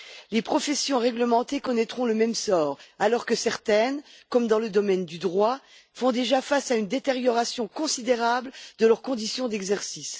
Les professions réglementées connaîtront le même sort, alors que certaines, comme dans le domaine du droit, subissent déjà une détérioration considérable de leurs conditions d'exercice.